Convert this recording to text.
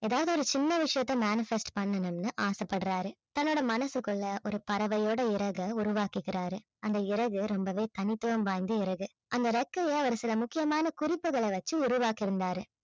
ஏதாவது ஒரு சின்ன விஷயத்தை manifest பண்ணனும்னு ஆசைப்படறாரு தன்னுடைய மனசுக்குள்ள ஒரு பறவையோட இறகை உருவாக்கிக்கிறாரு. அந்த இறகு ரொம்பவே தனித்துவம் வாய்ந்த இறகு அந்த றெக்கையை அவர் சில முக்கியமான குறிப்புகளை வச்சு உருவாக்கியிருந்தாரு